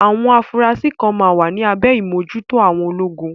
Àwọn afurasí kan máa wà ní abẹ́ ìmójúto àwọn ológun.